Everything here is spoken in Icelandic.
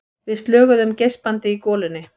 Við slöguðum geispandi í golunni.